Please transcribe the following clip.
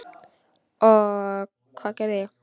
Og hvað gerði ég?